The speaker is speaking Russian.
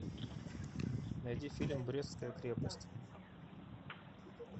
найди фильм брестская крепость